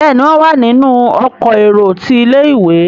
Béèni wón wá nínú Ọkọ̀ èrò tí ilé-ìwé.